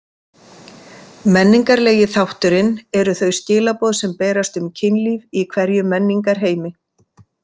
Menningarlegi þátturinn eru þau skilaboð sem berast um kynlíf í hverjum menningarheimi.